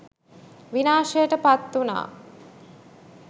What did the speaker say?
විනාශයට පත් වුණා.